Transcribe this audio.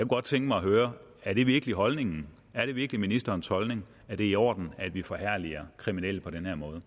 godt tænke mig at høre er det virkelig holdningen er det virkelig ministerens holdning at det er i orden at vi forherliger kriminelle på den her måde